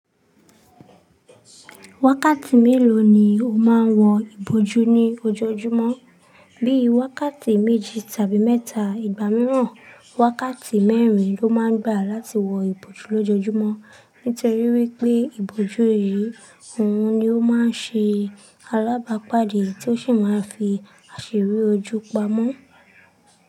Wákàtí mélòó ni o máa ń wọ ìbòjú ní ojojúmọ́? Bíi wákàtí méjì tàbí mẹ́ta. Ìgbà mìíràn, wákàtí mẹ́rin ló máa ń gbà láti wọ ìbòjú lójojúmọ́. Nítorí wípé, ìbòjú eyí, òun ni ó máa ń ṣe alábàápàdé tí ó sì máa ń fi àṣírí ojú pamọ́